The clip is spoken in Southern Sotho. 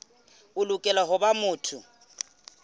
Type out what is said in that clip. o lokela ho ba motho